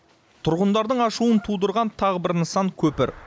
тұрғындардың ашуын тудырған тағы бір нысан көпір